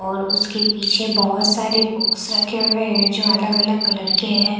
और उसके पीछे बहोत सारी बुकस रखे हुए है जो अलग अलग कलर के है।